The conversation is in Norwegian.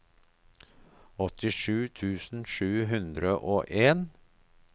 åttisju tusen sju hundre og en